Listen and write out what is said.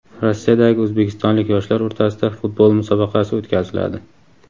Rossiyadagi o‘zbekistonlik yoshlar o‘rtasida futbol musobaqasi o‘tkaziladi.